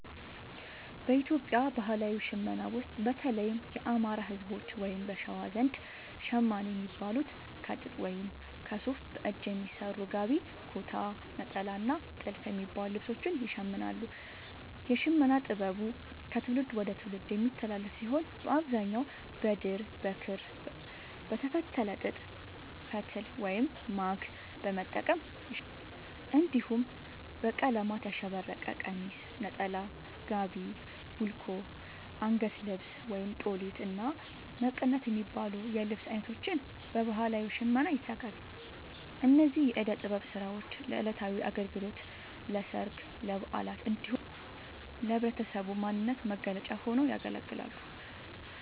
በኢትዮጵያ ባህላዊ ሽመና ውስጥ፣ በተለይም የአማራ፣ ህዝቦች(በሸዋ) ዘንድ ‘ሸማኔ’ የሚባሉት ከጥጥ ወይም ከሱፍ በእጅ በሚሰሩ ‘ጋቢ’፣ ‘ኩታ’፣ ‘ኔጣላ’ እና ‘ቲልፍ’ የሚባሉ ልብሶችን ይሽምናሉ። የሽመና ጥበቡ ከትውልድ ወደ ትውልድ የሚተላለፍ ሲሆን፣ በአብዛኛው በድር፣ በክር፣ በተፈተለ ጥጥ ፈትል(ማግ) በመጠቀም ይሸምናሉ። እንዲሁም በቀለማት ያሸበረቀ ቀሚስ፣ ነጠላ፣ ጋቢ፣ ቡልኮ፣ አንገት ልብስ(ጦሊት)፣እና መቀነት የሚባሉ የልብስ አይነቶችን በባህላዊ ሽመና ያዘጋጃሉ። እነዚህ የእደ ጥበብ ስራዎች ለዕለታዊ አገልግሎት፣ ለሠርግ፣ ለበዓላት እንዲሁም ለህብረተሰቡ ማንነት መገለጫ ሆነው ያገለግላሉ።